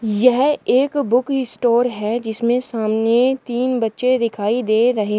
यह एक book store है जिसमें सामने तीन बच्चे दिखाई दे रहे।